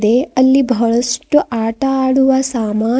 ಅಲ್ಲಿ ಬಹಳಷ್ಟು ಆಟ ಆಡುವ ಸಾಮನ್--